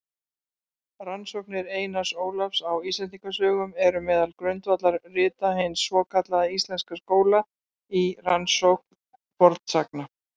Rannsóknir Einars Ólafs á Íslendingasögum eru meðal grundvallarrita hins svokallaða íslenska skóla í rannsókn fornsagna.